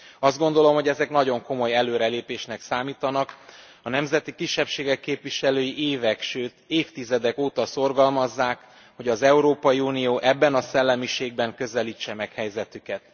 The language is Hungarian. Azt gondolom, hogy ezek nagyon komoly előrelépésnek számítanak, a nemzeti kisebbségek képviselői évek, sőt, évtizedek óta szorgalmazzák, hogy az Európai Unió ebben a szellemiségben közelítse meg helyzetüket.